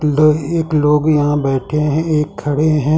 दो एक लोग यहां बैठे हैं एक खड़े हैं।